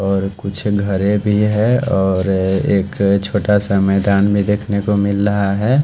और कुछ घरे भी है और एक छोटा सा मैदान भी देखने को मिल रहा है ।